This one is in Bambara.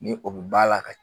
Ni o bi ba la ka